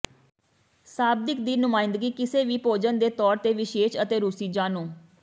ਸ਼ਾਬਦਿਕ ਦੀ ਨੁਮਾਇੰਦਗੀ ਕਿਸੇ ਵੀ ਭੋਜਨ ਦੇ ਤੌਰ ਤੇ ਵਿਦੇਸ਼ੀ ਅਤੇ ਰੂਸੀ ਜਾਣੂ